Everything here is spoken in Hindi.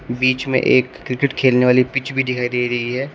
बीच में एक क्रिकेट खेलने वाली पिच भी दिखाई दे रही है।